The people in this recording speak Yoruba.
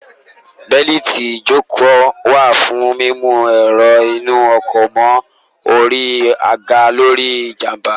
Bẹ́lìtì ìjókòó wà fún mímú èrò inú ọkọ̀ mọ́ orí aga torí ìjàmbá